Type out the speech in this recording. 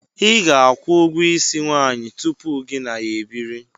ị ga-akwụ ụgwọ isi nwanyị tụpụ gị na ya ebiri